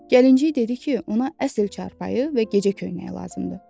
Gəlinciy dedi ki, ona əsl çarpayı və gecə köynəyi lazımdır.